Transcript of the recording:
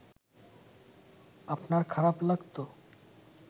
আপনার খারাপ লাগতো